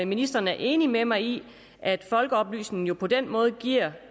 ministeren er enig med mig i at folkeoplysningen på den måde giver